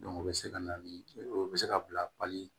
o bɛ se ka na ni o bɛ se ka bila pali